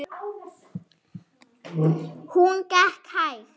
Hún gekk hægt.